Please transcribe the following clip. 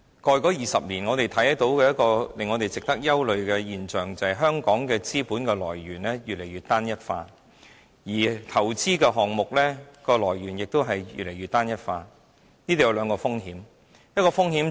過去20年，我們看到一個令人憂慮的現象，便是香港的資本來源越來越單一化，而投資項目來源也越來越單一化，當中有兩個風險。